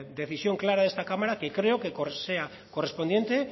decisión clara de esta cámara que espero sea correspondiente